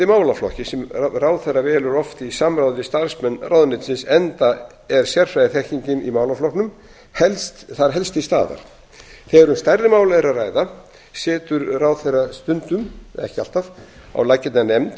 málaflokki sem ráðherra velur oft í samráði við starfsmenn ráðuneytisins enda er sérfræðiþekkingin í málaflokknum þar helst til staðar þegar um stærri mál er að ræða setur ráðherra stundum ekki alltaf á laggirnar nefnd